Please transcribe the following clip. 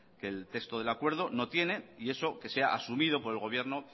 que el texto del acuerdo no tiene y eso que sea asumido por el gobierno